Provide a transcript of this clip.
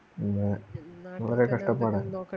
പിന്നെ വളരെ കഷ്ടപ്പാടാണ്